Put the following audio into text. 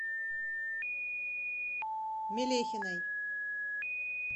мелехиной